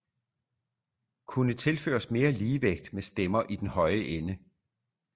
Kunne tilføres mere ligevægt med stemmer i den høje ende